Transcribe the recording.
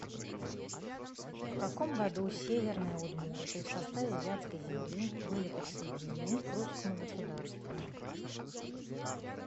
в каком году северные удмурты в составе вятской земли были присоединены к русскому государству